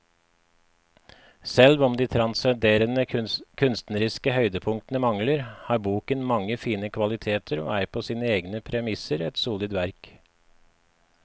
Selv om de transcenderende kunstneriske høydepunktene mangler, har boken mange fine kvaliteter og er på sine egne premisser et solid verk.